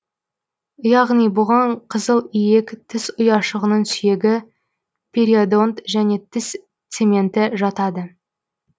яғни бұғаң қызыл иек тіс ұяшығының сүйегі периодонт және тіс цементі жатады